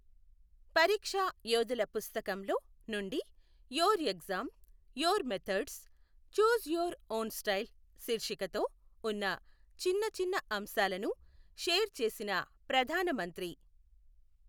పరీక్షా యోధుల పుస్తకంలో నుండి your exam, your methods, choose your own style శీర్షికతో ఉన్న చిన్న చిన్న అంశాలను షేర్ చేసిన ప్రధాన మంత్రి.